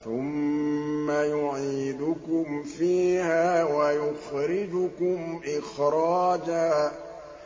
ثُمَّ يُعِيدُكُمْ فِيهَا وَيُخْرِجُكُمْ إِخْرَاجًا